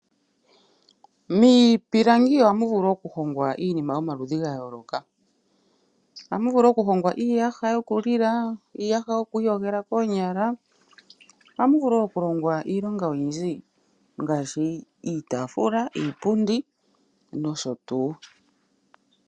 Miipilangi ohamu vulu okuhongwa iinima yomaludhi ga yooloka. Ohamu vulu okuhongwa iiyaha yokulila, iiyaha yoku iyogela koonyala nohamu vulu wo okuhongwa iinima oyindji ngaashi iitaafula, iipundi nosho tuu.